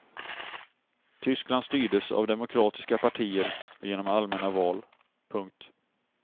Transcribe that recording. Tyskland styrdes av demokratiska partier och genom allmänna val. punkt